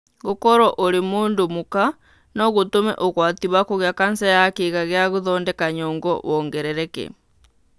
Gũkorũo ũrĩ mũndũ mũka no gũtũme ũgwati wa kũgĩa kanca ya kĩĩga gĩa gũthondeka nyongo wongerereke.